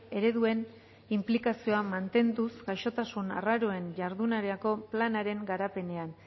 ereduen inplikazioa mantenduz gaixotasun arraroen jardunerako planaren garapenean